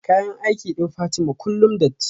kayan aiki din Fatima kullum datti